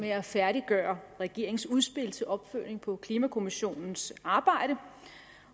med at færdiggøre regeringens udspil til opfølgning på klimakommissionens arbejde